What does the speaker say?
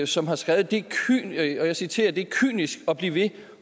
som har skrevet og jeg citerer det er kynisk at blive ved